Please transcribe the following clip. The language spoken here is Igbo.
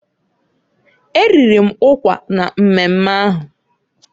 E riri m ụkwa na mmemme ahụ.